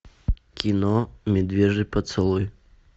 кино медвежий поцелуй